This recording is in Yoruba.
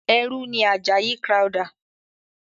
ẹrú ni Àjàyí Crowther.